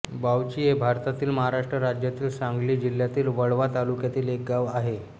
बावची हे भारतातील महाराष्ट्र राज्यातील सांगली जिल्ह्यातील वाळवा तालुक्यातील एक गाव आहे